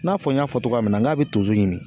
N'a fɔ n y'a fɔ cogoya min na n k'a bɛ tonso ɲini